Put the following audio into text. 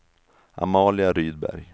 Amalia Rydberg